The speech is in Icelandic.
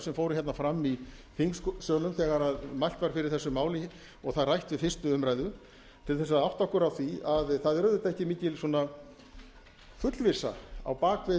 sem fóru hérna fram í þingsölum þegar mælt var fyrir þessu máli og það rætt við fyrstu umræðu til þess að átta okkur á því að það er auðvitað ekki mikil svona fullvissa á baki við